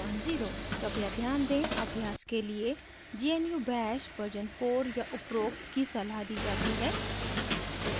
कृपया ध्यान दें अभ्यास के लिए gnu bash version 4 या उपरोक्त की सलाह दी जाती है